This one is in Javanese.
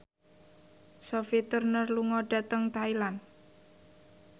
Sophie Turner lunga dhateng Thailand